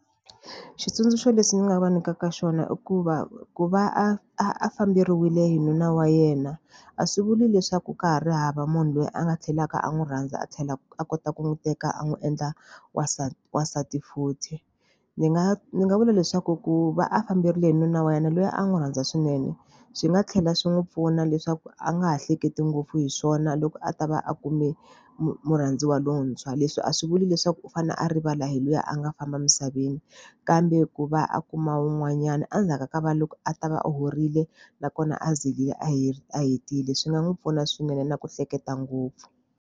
Xitsundzuxo lexi ndzi nga va nyikaka xona i ku va ku va a a famberiwile hi nuna wa yena, a swi vuli leswaku ka ha ri hava munhu loyi a nga tlhelaka a n'wi rhandza a tlhela a kota ku n'wi teka a n'wi endla wansati wansati futhi. Ndzi nga ndzi nga vula leswaku ku va a famberile hi nuna wa yena loyi a n'wi rhandza swinene, swi nga tlhela swi n'wi pfuna leswaku a nga ha hleketi ngopfu hi swona loko a ta va a kume murhandziwa lowuntshwa. Leswi a swi vuli leswi leswaku u fanele a rivala hi luya a nga famba emisaveni, kambe ku va a kuma wun'wanyana a ndzhaku ka va loko a ta va horile nakona a zirile a a hetile. Swi nga n'wi pfuna swinene na ku hleketa ngopfu.